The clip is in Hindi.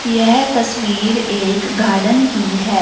यह तस्वीर एक गार्डन की हैं।